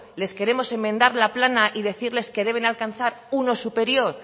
les queremos enmendar la plana y decirles que deben alcanzar uno superior